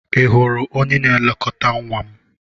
Ị hụrụ onye na-elekọta nwa m?